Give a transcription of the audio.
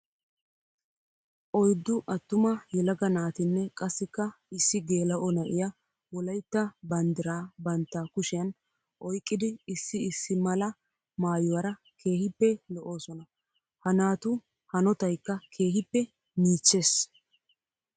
Oyddu atumma yelaga naatinne qassikka issi geela'o na'iya wolaytta banddira bantta kushiyan oyqqiddi issi issi mala maayuwara keehippe lo'osonna. Ha naatu hanotaykka keehippe miichchees.